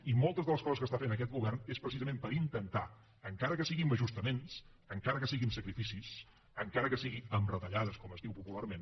i moltes de les coses que està fent aquest govern són precisament per intentar encara que sigui amb ajustaments encara que sigui amb sacrificis encara que sigui amb retallades com es diu popularment